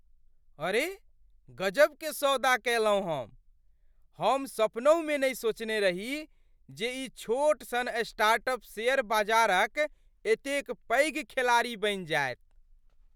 अरे गजबके सौदा कएलहुँ हम! हम सपनहुमे नहि सोचने रही जे ई छोट सन स्टार्टअप शेयर बजारक एतेक पैघ खेलाड़ी बनि जायत।